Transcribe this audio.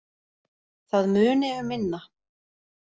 Það muni um minna